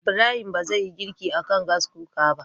Ibrahim ba zai yi girki akan Gas Cooker ba